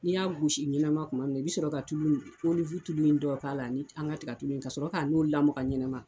N' y'a gosi ɲɛnama tuma min i bɛ sɔrɔ ka tulu ni oliwu tulu in dɔ k'a la ani an ka tigɛtu ka sɔrɔ k'a n'o lamaga ɲɛnama.